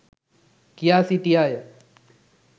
කියා සිටියාය.